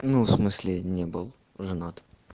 ну в смысле не был женат